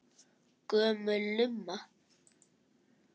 Gömul lumma.